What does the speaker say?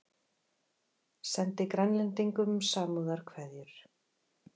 Sendi Grænlendingum samúðarkveðjur